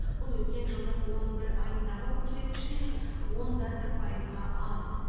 бұл өткен жылдың он бір айындағы көрсеткіштен он да бір пайызға аз